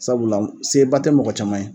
Sabula seba tɛ mɔgɔ caman ye